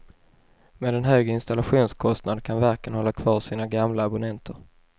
Med en hög installationskostnad kan verken hålla kvar sina gamla abonnenter.